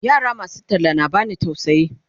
yara masu talla na bani tausayi